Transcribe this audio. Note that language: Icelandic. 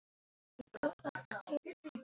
Hann sötraði kaffið úr lokinu.